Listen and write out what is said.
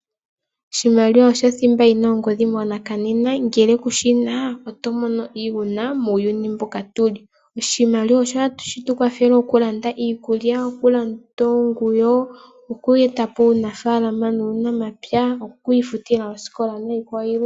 Oshimaliwa osho thimba yina ongodhi monena. Ngele kuna oshimaliwa otomono iihuna muuyuni mbuka tuli . Oshimaliwa osho hashi tukwathele okulanda iikulya ,okulanda oonguwo , oku etapo uunafaalama nuunamapya, oku ifutila oosikola niikwawo yilwe.